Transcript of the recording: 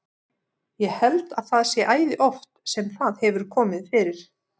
Ég held að það sé æði oft sem það hefur komið fyrir.